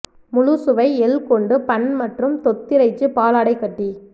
முழு சுவை எள் கொண்டு பன் மற்றும் தொத்திறைச்சி பாலாடைக்கட்டி